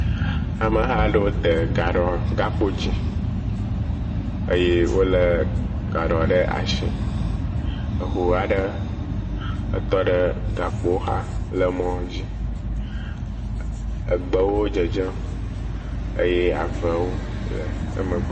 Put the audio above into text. Ame aɖewo de kakpo dzi eye wole gaɖɔ ɖe asi. Eʋu aɖe etɔ ɖe gakpoa xa le mɔ dzi. Egbewo dzedzem eye aʋlawo le emegbe.